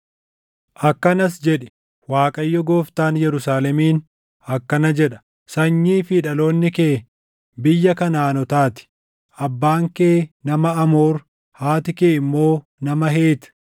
akkanas jedhi; ‘ Waaqayyo Gooftaan Yerusaalemiin akkana jedha: Sanyii fi dhaloonni kee biyya Kanaʼaanotaa ti; abbaan kee nama Amoor; haati kee immoo nama Heet.